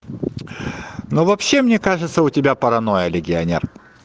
ну вообще мне кажется у тебя паранойя легионер